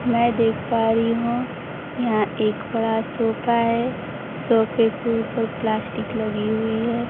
मैं देख पा रही हूं यहां एक बड़ा सोफा है सोफे के ऊपर प्लास्टिक लगी हुई है।